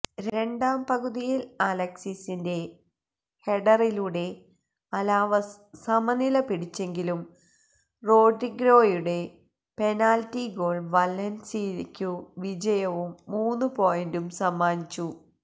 രണ്ടാംപകുതിയിൽ അലക്സിസിന്റെ ഹെഡറിലൂടെ അലാവസ് സമനില പിടിച്ചെങ്കിലും റോഡ്രിഗോയുടെ പെനൽറ്റി ഗോൾ വലൻസിയയ്ക്കു വിജയവും മൂന്നുപോയിന്റും സമ്മാനിച്ചു